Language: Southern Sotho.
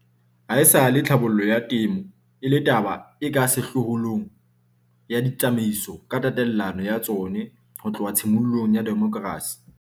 Haesale tlhabollo ya temo e le taba e ka sehlohlolong ya ditsamaiso ka tatelano ya tsona ho tloha tshimolohong ya demokrasi.